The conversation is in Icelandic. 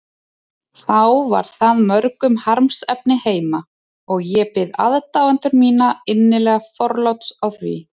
þá var það mörgum harmsefni heima, og ég bið aðdáendur mína innilega forláts á því.